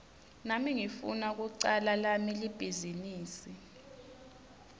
nami ngifuna kucala lami libhizinisi